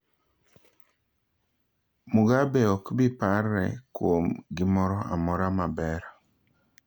Mugabe okbi parre kuom gimoro amora maber